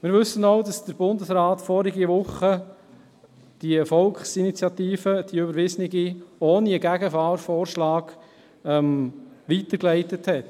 Wir wissen auch, dass der Bundesrat in der vorangegangenen Woche die überwiesene Volksinitiative ohne einen Gegenvorschlag weitergeleitet hat.